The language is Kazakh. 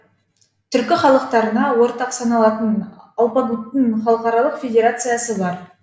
түркі халықтарына ортақ саналатын алпагуттың халықаралық федерациясы бар